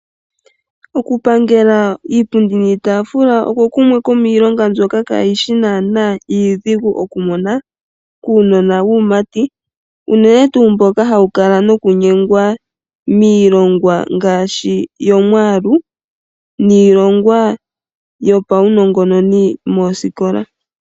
Okupangela iipundi niitaafula oko kumwe komiilonga mbyoka kaayi shi naana iidhigu okumona kuunona wuumati, unene tuu mboka hawu kala nokunyengwa miilongwa ngaashi yomwaalu niilongwa yopaunongononi moosikola.